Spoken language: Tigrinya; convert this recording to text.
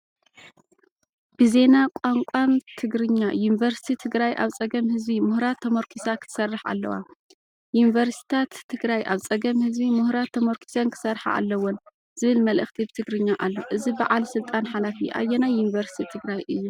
ብዜና ቋንቋን ትግርኛ "ዩኒቨርሲቲ ትግራይ ኣብ ፀገም ህዝቢ - ምሁራት ተመርኲሳ ክትሰርሕ ኣለዋ" (ዩኒቨርሲታት ትግራይ ኣብ ፀገም ህዝቢ - ምሁራት ተመርኲሰን ክሰርሓ ኣለወን) ዝብል መልእኽቲ ብትግርኛ ኣሎ። እዚ በዓል ስልጣን ሓላፊ ኣየናይ ዩኒቨርስቲ ትግራይ እዩ?